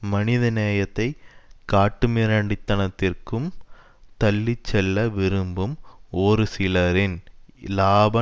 மனித நேயத்தை காட்டுமிராண்டித்தனத்திற்கும் தள்ளி செல்ல விரும்பும் ஒருசிலரின் இலாப